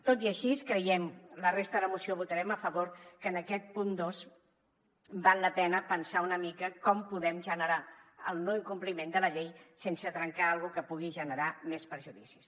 tot i així creiem la resta de la moció votarem a favor que en aquest punt dos val la pena pensar una mica com podem generar el no incompliment de la llei sense trencar alguna cosa que pugui generar més perjudicis